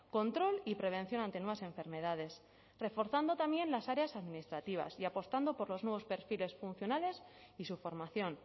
control y prevención ante nuevas enfermedades reforzando también las áreas administrativas y apostando por los nuevos perfiles funcionales y su formación